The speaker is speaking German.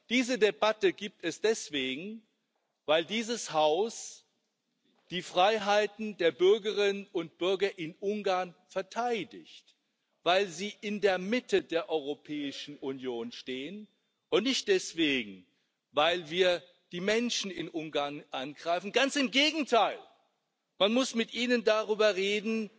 Diese Debatte gibt es deswegen, weil dieses Haus die Freiheiten der Bürgerinnen und Bürger in Ungarn verteidigt, weil sie in der Mitte der Europäischen Union stehen, und nicht deswegen, weil wir die Menschen in Ungarn angreifen. Ganz im Gegenteil Man muss mit Ihnen darüber reden,